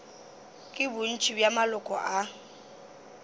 ke bontši bja maloko a